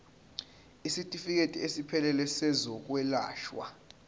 isitifikedi esiphelele sezokwelashwa